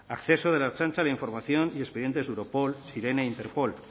acceso de la ertzaintza a la información y expedientes europol e interpol